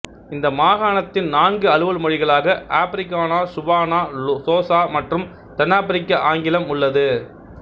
இந்த மாகாணத்தின் நான்கு அலுவல் மொழிகளாக ஆபிரிகானா சுவானா சோசா மற்றும் தென்னாப்பிரிக்க ஆங்கிலம் உள்ளது